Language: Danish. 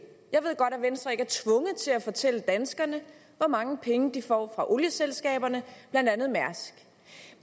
jeg ved godt at venstre ikke er tvunget til at fortælle danskerne hvor mange penge de får fra olieselskaberne blandt andet mærsk